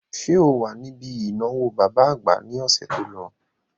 Ṣé o wà níbi ìnáwó bàbá àgbà ní ọ̀sẹ̀ to lọ?